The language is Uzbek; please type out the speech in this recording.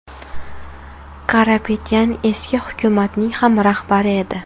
Karapetyan eski hukumatning ham rahbari edi.